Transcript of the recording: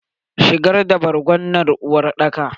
shigar da borgon nan uwar daka!